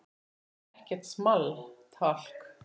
Það er ekkert small talk.